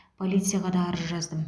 полицияға да арыз жаздым